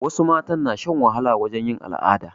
Wasu matan na shan wahala wajen yin al'ada